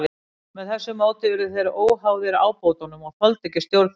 Með þessu móti urðu þeir óháðir ábótunum og þoldu ekki stjórn þeirra.